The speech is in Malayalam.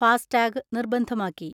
ഫാസ്ടാഗ് നിർബന്ധമാക്കി.